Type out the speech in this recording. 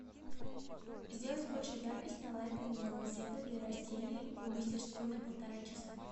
сделать больше яркость на лампе дневного света для растений в мастерской на полтора часа